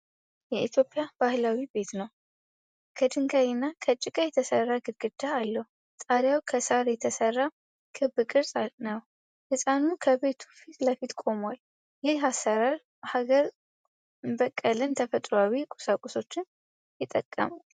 የኢትዮጵያ ባህላዊ ቤት ነው:: ከድንጋይና ከጭቃ የተሰራ ግድግዳ አለው:: ጣሪያው ከሳር የተሰራ ክብ ቅርጽ ነው:: ህጻኑ ከቤቱ ፊት ለፊት ቆሟል:: ይህ አሰራር ሀገር በቀልና ተፈጥሮአዊ ቁሳቁሶችን ይጠቀማል::